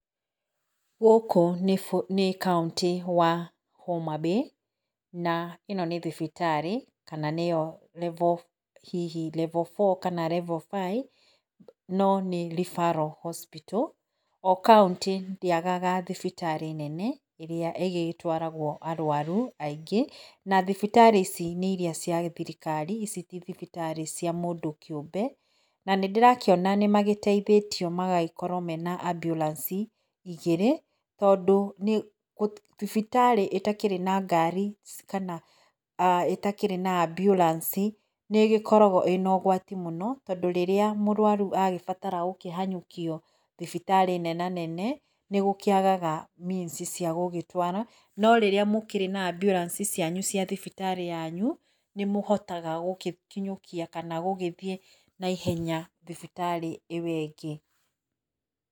Gũkũ nĩ kauntĩ wa Homabay na ĩno nĩ thibitarĩ kana nĩyo hihi level 4 kana level 5 no nĩ referal hospital. O kauntĩ ndĩagaga thibitarĩ nene ĩrĩa ĩgĩtwaragwo arwaru aingĩ na thibitarĩ ici nĩ iria cia thirikari ici ti thibitarĩ cia mũndũ kĩũmbe. Na nĩndĩrona nĩmagĩteithĩtio magagĩkorwo mena amburanci igĩrĩ, tondũ thibitarĩ ĩtakĩrĩ na ngari ici kana ĩtakĩrĩ na amburanici nĩgĩkoragwo ĩna ũgwati mũno, tondũ rĩrĩa mũrwaru agĩbatara kũhanyũkio thibitarĩ nena nene nĩ gũkĩagaga means cia gũgĩtwara. No rĩrĩa mũkĩrĩ na amburanici cianyu cia thibitarĩ yanyu nĩmũhotaga gũgĩkinyũkia kana gũgĩthiĩ naihenya thibitarĩ ĩyo ĩngĩ.